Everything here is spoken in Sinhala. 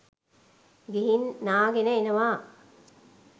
ගිහින් නාගෙන එනවා.